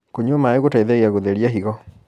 kũnyua maĩ gũteithagia gutherĩa higo